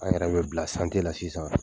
An yɛrɛ bɛ bila santiye la sisan